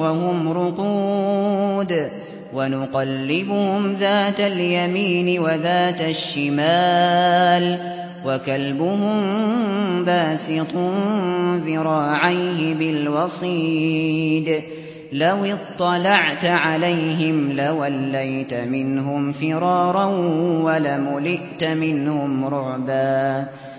وَهُمْ رُقُودٌ ۚ وَنُقَلِّبُهُمْ ذَاتَ الْيَمِينِ وَذَاتَ الشِّمَالِ ۖ وَكَلْبُهُم بَاسِطٌ ذِرَاعَيْهِ بِالْوَصِيدِ ۚ لَوِ اطَّلَعْتَ عَلَيْهِمْ لَوَلَّيْتَ مِنْهُمْ فِرَارًا وَلَمُلِئْتَ مِنْهُمْ رُعْبًا